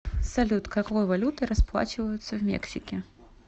салют какой валютой расплачиваются в мексике